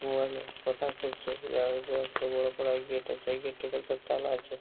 ওয়ানে কথা কচ্ছে ইয়ার উপরে একটা বড় পরা গেট আছে এই গেট টি তে একটা তালা আছে